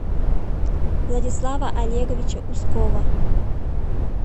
владислава олеговича ускова